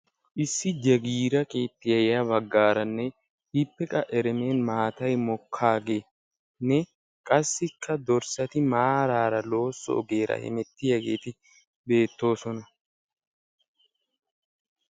Issi jagiira keettiya ya baggaaranne, ippe qa eremen maatay mokkaageenne, qassikka dorssati maaraara loosso ogiyara hemettiyageeti beettoosona.